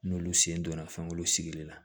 N'olu sen donna fɛn munnu sigilen na